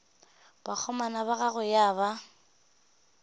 bakgomana ba gagwe ya ba